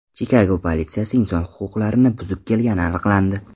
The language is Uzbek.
Chikago politsiyasi inson huquqlarini buzib kelgani aniqlandi.